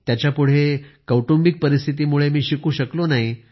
त्याच्यापुढे मी कौटुंबिक परिस्थितीमुळे शिकू शकलो नाही